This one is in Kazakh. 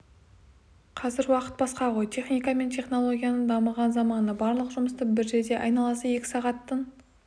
қазір уақыт басқа ғой техника мен технологияның дамыған заманы барлық жұмысты бір жерде айналасы екі сағаттың